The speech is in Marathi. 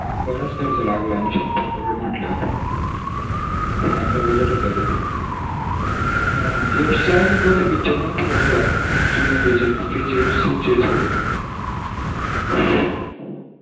बराच खर्च लागला न शंभर करोंड म्हटल्यावर चांगला budget होता तो भी यश चे अजून कोणते picture माहीत हे का तुला जूने त्याचे kgf चे सोडून